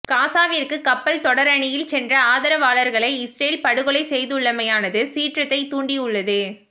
காசாவிற்கு கப்பல் தொடரணியில் சென்ற ஆதரவாளர்களை இஸ்ரேல் படுகொலை செய்துள்ளமையானது சீற்றத்தைத் தூண்டியுள்ளது